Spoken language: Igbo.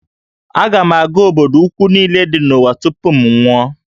Aga m aga obodo ukwu niile dị n'ụwa tupu m anwụọ